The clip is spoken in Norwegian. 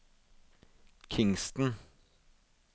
Kingston